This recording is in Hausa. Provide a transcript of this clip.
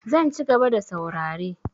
Zan cigaba da saurare.